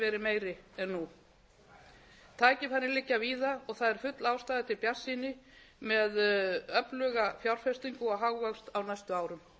meiri en nú tækifærin liggja víða og það er full ástæða til bjartsýni með öfluga fjárfestingu og hagvöxt á næstu árum